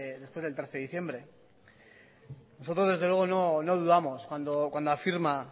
después del trece de diciembre nosotros desde luego no dudamos cuando afirma